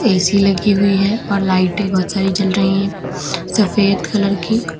AC लगी हुई है और लाइटें बहुत सारी जल रही है सफेद कलर की।